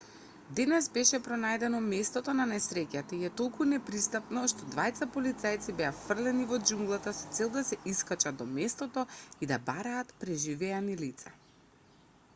денес беше пронајдено местото на несреќата и е толку непристапно што двајца полицајци беа фрлени во џунглата со цел да се искачат до местото и да бараат преживеани лица